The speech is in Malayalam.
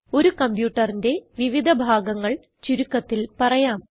ഒരു കംപ്യൂട്ടറിന്റെ വിവിധ ഭാഗങ്ങൾ ചുരുക്കത്തിൽ പറയാം